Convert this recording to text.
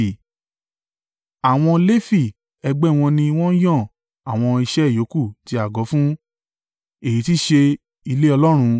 Àwọn Lefi ẹgbẹ́ wọn ni wọn yan àwọn iṣẹ́ yòókù ti àgọ́ fún, èyí tí í ṣe ilé Ọlọ́run.